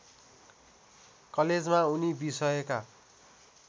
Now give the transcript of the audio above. कलेजमा उनी विषयका